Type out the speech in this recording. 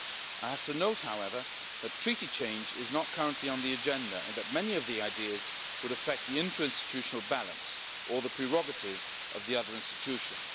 I have to note, however, that treaty change is not currently on the agenda and that many of the ideas would affect the interinstitutional balance or the prerogatives of the other institutions.